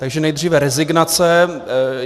Takže nejdříve rezignace.